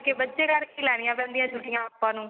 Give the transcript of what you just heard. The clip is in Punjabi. ਬੱਚੇ ਕਰਕੇ ਲੈਣੀਆ ਪੈਂਦੀਆਂ ਛੁੱਟੀਆਂ ਆਪਾਂ ਨੂੰ